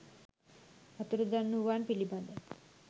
අතුරුදන් වූවන් පිළිබඳ